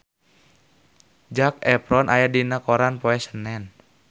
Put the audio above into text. Zac Efron aya dina koran poe Senen